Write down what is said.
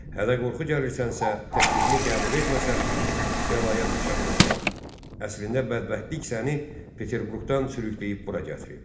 Hədə qorxu gəlirsənsə, təklifini qəbul etməsəm, bəlaya düçar olacağam, əslində bədbəxtlik səni Peterburqdan sürükləyib bura gətirib.